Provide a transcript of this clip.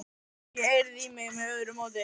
Fékk ekki eirð í mig með öðru móti.